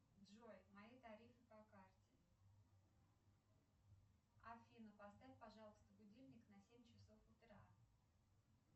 джой мои тарифы по карте афина поставь пожалуйста будильник на семь часов утра